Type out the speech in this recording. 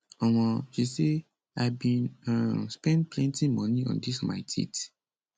um she say i bin um spend plenti money on dis my teeth